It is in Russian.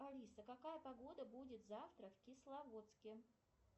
алиса какая погода будет завтра в кисловодске